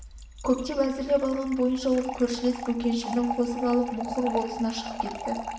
көптен әзірлеп алған бойынша ол көршілес бөкеншісін қосып алып мұқыр болысына шығып кетті